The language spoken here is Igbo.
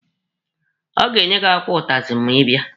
Ọ ga-enye gị akwụkwọ ụtazị ma ị bịa.